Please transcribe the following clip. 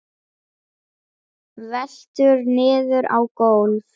Veltur niður á gólf.